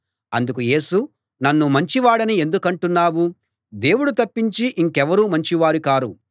అందుకు యేసు నన్ను మంచివాడని ఎందుకంటున్నావు దేవుడు తప్పించి ఇంకెవరూ మంచి వారు కారు